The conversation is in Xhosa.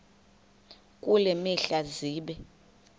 kule mihla zibe